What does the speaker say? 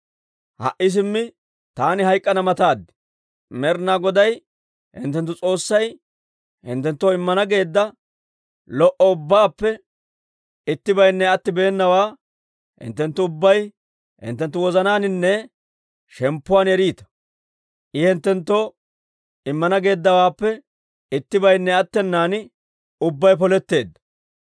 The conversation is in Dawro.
«Ha"i simmi taani hayk'k'ana mataad. Med'ina Goday hinttenttu S'oossay hinttenttoo immana geedda lo"o ubbaappe ittibaynne attibeenawaa hinttenttu ubbay hinttenttu wozanaaninne shemppuwaan eriita. I hinttenttoo immana geeddawaappe ittibaynne attenan, ubbay poletteedda.